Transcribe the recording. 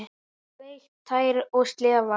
Sleikt tær og slefað.